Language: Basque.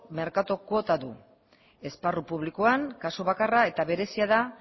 merkatu kuota du esparru publikoan kasu bakarra eta berezia da